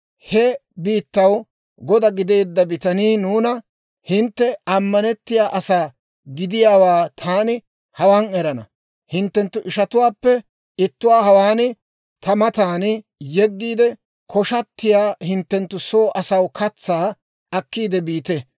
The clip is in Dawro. He biittaw goda gideedda bitanii nuuna, ‹Hintte ammanettiyaa asaa gidiyaawaa taani hawaan erana; hinttenttu ishatuwaappe ittuwaa hawaan ta matan yeggiide, koshatiyaa hinttenttu soo asaw katsaa akkiidde biite.